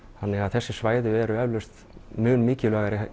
þannig að þessi svæði eru eflaust mun mikilvægari